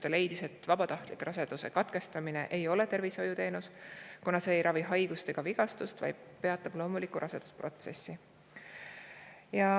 Ta leidis, et vabatahtlik raseduse katkestamine ei ole tervishoiuteenus, kuna see ei ravi haigust ega vigastust, vaid peatab loomuliku rasedusprotsessi.